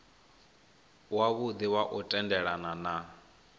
wavhudi wa u tendelana na